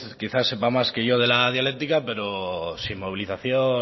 quizás sepa más que yo de la dialéctica pero sin movilización